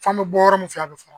F'an be bɔ yɔrɔ min fɛ a be fɔ